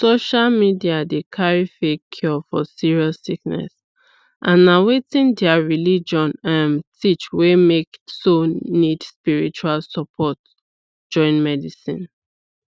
social media dey carry fake cure for serious sickness as na wetin their religion um teach wey make so nid spiritual support join medicine